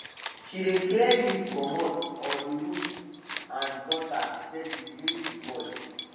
she dey clear leavescommot or the roof and gutter steadily during the fall